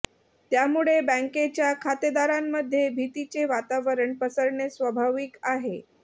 त्यामुळे बँकेच्या खातेदारांमध्ये भीतीचे वातावरण पसरणे स्वाभाविक आहे